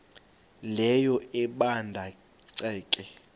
leyo ebanda ceke